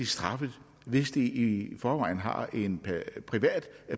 straffet hvis de i forvejen har en privat